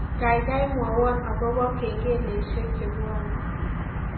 Gaigai mwowon agoba kengeleshek chebwane